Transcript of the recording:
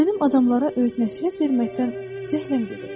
Mənim adamlara öyüd-nəsihət verməkdən zəhləm gedib.